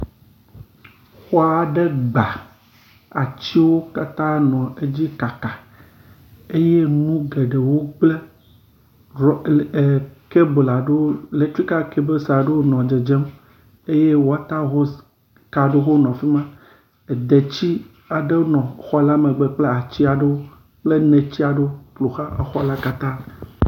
Xɔ aɖe gba, atiwo katã nɔ edzi kaka eye nu geɖewo gblẽ, kebel aɖewo, elektrika kebelswo aɖewo nɔ dzedzem eye wɔta hos ka aɖewo hã le afi ma. Edeti aɖe nɔ xɔ la megbe kple ati aɖewo, kple neti aɖewo ƒo xla exɔ la katã.